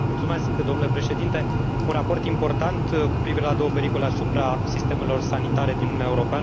Domnule Președinte, un raport important cu privire la două pericole asupra sistemelor sanitare din Uniunea Europeană.